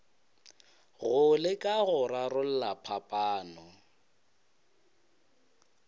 go leka go rarolla phapano